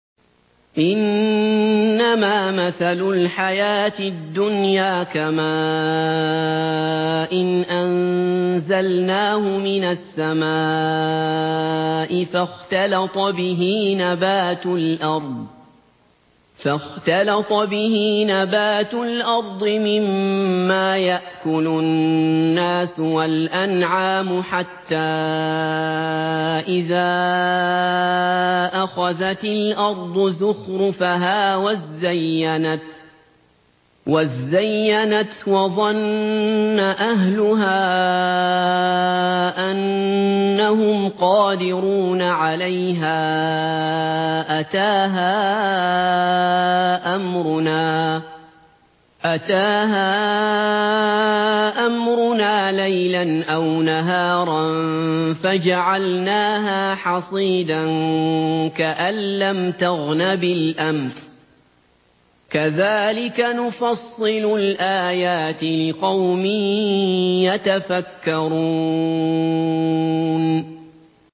إِنَّمَا مَثَلُ الْحَيَاةِ الدُّنْيَا كَمَاءٍ أَنزَلْنَاهُ مِنَ السَّمَاءِ فَاخْتَلَطَ بِهِ نَبَاتُ الْأَرْضِ مِمَّا يَأْكُلُ النَّاسُ وَالْأَنْعَامُ حَتَّىٰ إِذَا أَخَذَتِ الْأَرْضُ زُخْرُفَهَا وَازَّيَّنَتْ وَظَنَّ أَهْلُهَا أَنَّهُمْ قَادِرُونَ عَلَيْهَا أَتَاهَا أَمْرُنَا لَيْلًا أَوْ نَهَارًا فَجَعَلْنَاهَا حَصِيدًا كَأَن لَّمْ تَغْنَ بِالْأَمْسِ ۚ كَذَٰلِكَ نُفَصِّلُ الْآيَاتِ لِقَوْمٍ يَتَفَكَّرُونَ